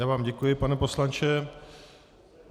Já vám děkuji, pane poslanče.